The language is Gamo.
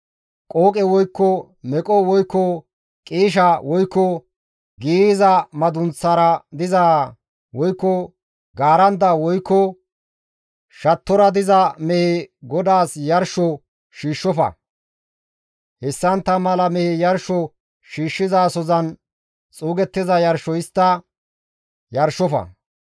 Qooqe woykko meqo woykko qiisha woykko giiyza madunththara dizaa woykko gaaranda woykko shattora diza mehe GODAAS yarsho shiishshofa; hessantta mala mehe yarsho yarshizasozan xuugettiza yarsho histta yarshofa.